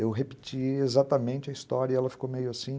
Eu repeti exatamente a história e ela ficou meio assim.